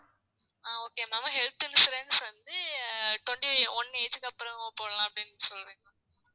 ஆஹ் okay ma'am health insurance வந்து twenty one age க்கு அப்புறம் போடலாம் அப்படின்னு